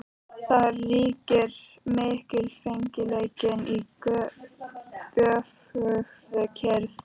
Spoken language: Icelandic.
Þar ríkir mikilfengleikinn í göfugri kyrrð.